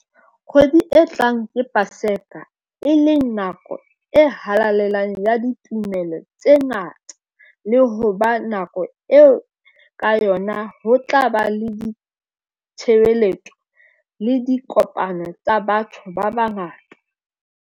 Kgwedi e tlang ke Paseka, e leng nako e halalelang ya ditumelo tse ngata le ho ba nako eo ka yona ho tla ba le ditshebeletso le dikopano tsa batho ba bangata.